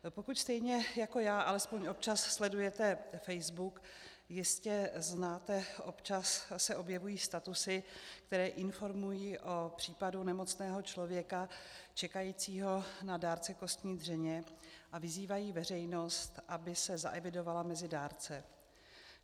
Pokud stejně jako já alespoň občas sledujete Facebook, jistě znáte, občas se objevují statusy, které informují o případu nemocného člověka čekajícího na dárce kostní dřeně a vyzývají veřejnost, aby se zaevidovala mezi dárce.